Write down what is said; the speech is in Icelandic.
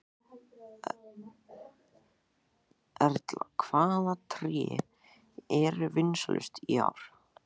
Erla, hvaða tré eru vinsælust í ár?